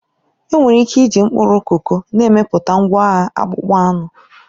Enwere ike iji mkpụrụ koko na-emepụta ngwaahịa akpụkpọ anụ.